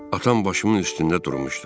Atam başımın üstündə durmuşdu.